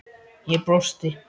Ég brosti.